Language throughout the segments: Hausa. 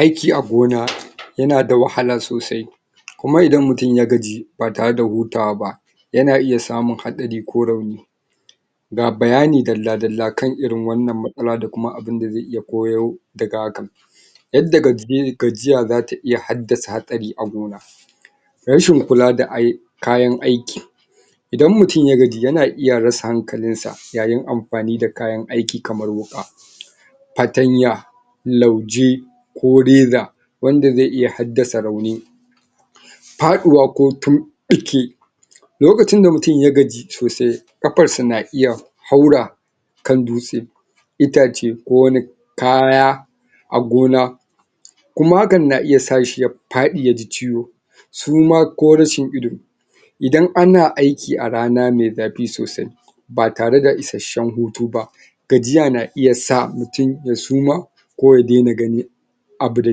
Aiki a gona yana da wahala sosai kuma idan mutun ya gaji ba tare da hutawa ba yana iya samun haɗari ko rauni ga bayani dalla-dalla kan irin wannan matsala da kuma abinda zai iya ko yau daga hakan yadda gajiya zata iya haddasa hatsari a gona rashin kula da kayan aiki idan mutun ya gaji yana iya rasa hankalin sa yayin amfani da kayan aiki kamar wuƙa, fatanya, lauje, ko reza wanda zai iya haddasa rauni faɗuwa ko tunɓuke lokacin da mutun ya gaji sosai ƙafar sa na iya haura kan dutse, itace ko wani kaya a gona kuma hakan na iya sa shi ya faɗi ya ji ciwo suma ko rashin ido idan ana aiki a rana me zafi sosai ba tare da isashen hutu ba gajiya na iya sa mutun ya suma ko ya dena ganin abu da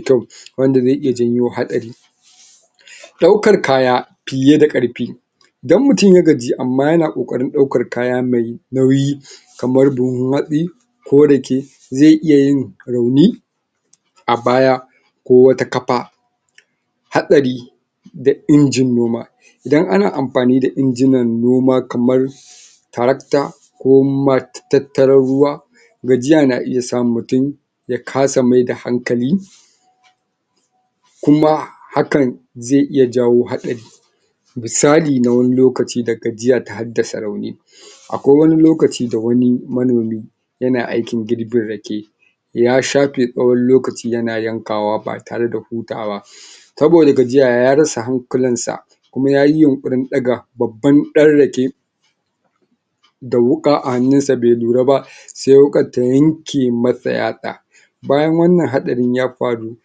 kyau wanda zai iya janyo hatsari ɗaukar kaya fiye da ƙarfi idan mutun ya gaji amma yana ƙoƙarin ɗaukar kaya me nauyi kamar buhun hatsi, ko rake, zai iya yin rauni a baya ko wata kafa hatsari da injin noma idan ana amfani da injinan noma kamar tarakta ko matattaran ruwa gajiya na iya samun mutun ya kasa maida hankali kuma hakan zai iya jawo haɗari misali na wani lokaci da gajiya ta haddasa rauni akwai wani lokaci da wani manomi yana aikin girbin rake ya safe tsawon lokaci yana yankawa ba tare da hutawa saboda gajiya ya rasa hankalin sa kuma yayi yunƙurin ɗaga babban ɗan rake da wuƙa a hannun sa be lura ba se wuƙar ta yanke masa yatsa bayan wannan haɗarin ya faru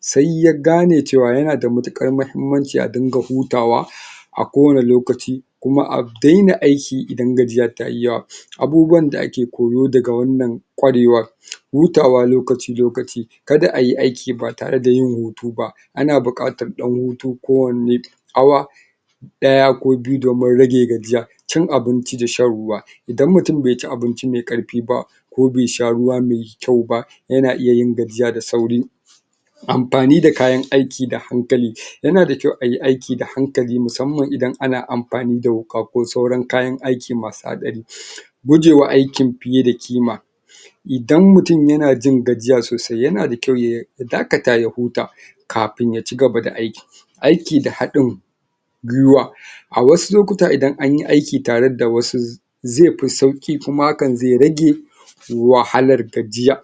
sai ya gane cewa yana da matuƙar mahimmanci a dinga hutawa a kowani lokaci kuma a daina aiki idan gajiya tayi yawa abubuwan da ake koyo daga wannan ƙwarewar hutawa lokaci-lokaci kada ayi aiki ba tare da yin hutu ba ana buƙatar ɗan hutu kowanni awa ɗaya ko biyu domin rage gajiya, cin abinci da shan ruwa ida mutun bai ci abinci mai ƙarfi ba ko be sha ruwa mai kyau ba yana iya yin gajiya da sauri amfani da kayan aiki da hankali yana da kyau ai aiki da hankali musamman idan ana amfani da wuƙa ko sauran kayan aiki masu haɗari gujewa aikin fiye da ƙima idan mutun yana jin gajiya sosai, yana da kyau ya dakata ya huta kafin ya cigaba da aiki aiki da haɗin gwuiwa, a wasu lokuta idan an yi aiki tare da wasu ze fi sauƙi kuma hakan zai rage wahalar gajiya.